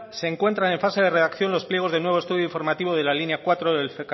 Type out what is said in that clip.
se encuentran en fase de redacción los pliegos del nuevo estudio informativo de la línea cuatro del